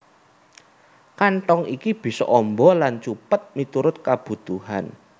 Kanthong iki bisa amba lan cupet miturut kabutuhan